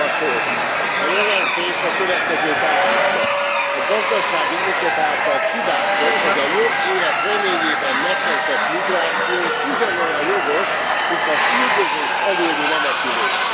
A jelentés a következőt állítja a gazdasági okok által kiváltott, vagy a jobb élet reményében megkezdett migráció ugyanolyan jogos, mint az üldözés előli menekülés.